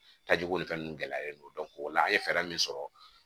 Tajiko ni fɛn nunnu gɛlɛyalen don o la an ye fɛɛrɛ min sɔrɔ